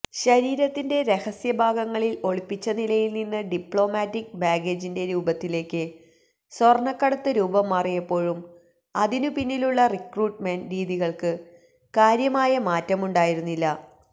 ശരീരത്തിന്റെ രഹസ്യഭാഗങ്ങളിൽ ഒളിപ്പിച്ചനിലയിൽനിന്ന് ഡിപ്ലോമാറ്റിക് ബാഗേജിന്റെ രൂപത്തിലേക്ക് സ്വർണക്കടത്ത് രൂപംമാറിയപ്പോഴും അതിനു പിന്നിലുള്ള റിക്രൂട്ട്മെന്റ് രീതികൾക്കു കാര്യമായ മാറ്റമുണ്ടായിരുന്നില്ല